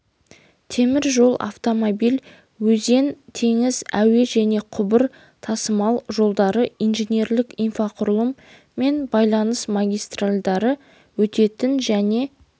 темір жол автомобиль өзен теңіз әуе және құбыр тасымалы жолдары инженерлік инфрақұрылым мен байланыс магистральдары өтетін және